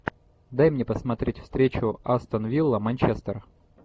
дай мне посмотреть встречу астон вилла манчестер